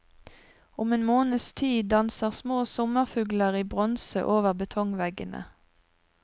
Om en måneds tid danser små sommerfugler i bronse over betongveggene.